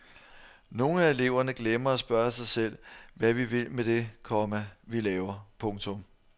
Nogle af eleverne glemmer at spørge sig selv hvad vi vil med det, komma vi laver. punktum